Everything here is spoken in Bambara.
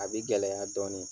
A bi gɛlɛya dɔɔnin.